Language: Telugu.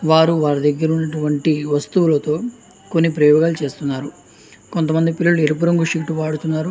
వారు వారి దగ్గర ఉన్నట్టు వంటి వస్తువులతో కొన్ని ప్రయోగాలు చేస్తున్నారు ఎరుపు రంగు ధరించారు.